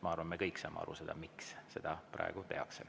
Ma arvan, me kõik saame aru, miks seda praegu tehakse.